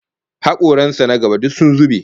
Hakoran sa na gaba duk sun zube